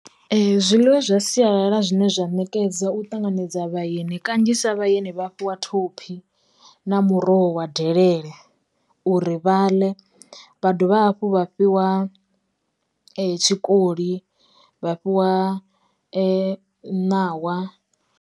Zwiḽiwa zwa sialala zwine zwa ṋekedza u ṱanganedza vhaeni kanzhisa vhaeni vha fhiwa thophi, na muroho wa delele uri vha ḽe, vha dovha hafhu vha fhiwa tshikoli, vha fhiwa ṋawa.